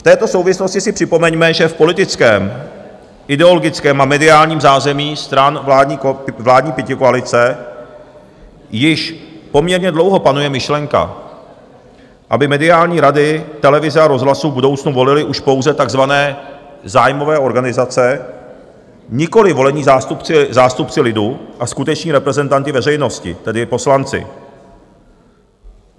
V této souvislosti si připomeňme, že v politickém, ideologickém a mediálním zázemí stran vládní pětikoalice již poměrně dlouho panuje myšlenka, aby mediální rady televize a rozhlasu v budoucnu volily už pouze takzvané zájmové organizace, nikoliv volení zástupci lidu a skuteční reprezentanti veřejnosti, tedy poslanci.